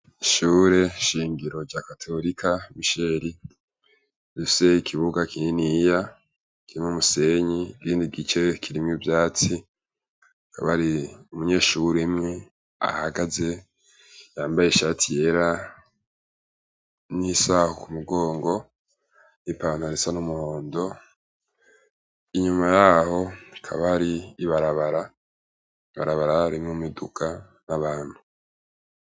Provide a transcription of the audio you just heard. Ishure shingiro rya katorika misheli luseye ikibuga kininiya kirima umusenyi gindi gice kirimu vyatsi kaba ari umunyeshure mwe ahagaze yambaye ishati yera n'isaha ku mugongo n'i pantaree a n'umuhondo inyuma yaho kabari ibarabara ibarabararimwo miduka n'abantu.